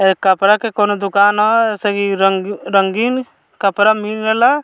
ए कपड़ा के कोनो दुकान ह एहि से की रंग रंगीन कपड़ा मिलेला।